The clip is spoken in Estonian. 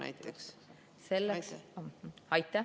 Aitäh!